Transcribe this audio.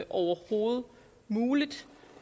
overhovedet muligt